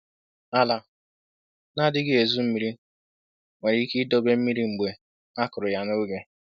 Ala na-adịghị ezu mmiri nwere ike idobe mmiri mgbe akụrụ ya n’oge